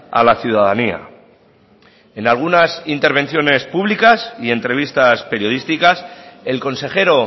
a la ciudadanía en algunas intervenciones públicas y entrevistas periodísticas el consejero